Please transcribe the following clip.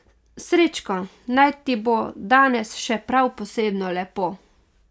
Srečko, naj ti bo danes še prav posebno lepo.